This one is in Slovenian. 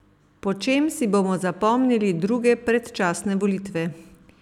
Po čem si bomo zapomnili druge predčasne volitve?